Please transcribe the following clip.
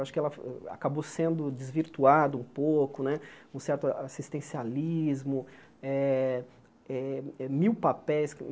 Acho que ela acabou sendo desvirtuada um pouco né, com um certo assistencialismo eh eh, mil papéis.